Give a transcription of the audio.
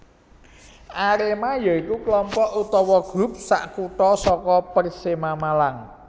Arema ya iku kelompok utawa grup sakutha saka Persema Malang